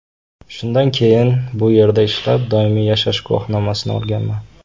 Shundan keyin bu yerda ishlab, doimiy yashash guvohnomasi olganman.